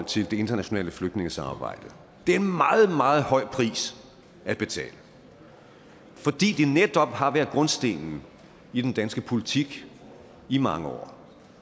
til det internationale flygtningesamarbejde det er en meget meget høj pris at betale fordi det netop har været grundstenen i den danske politik i mange år